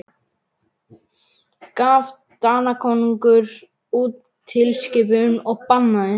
Gaf Danakonungur út tilskipun og bannaði